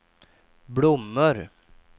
blommor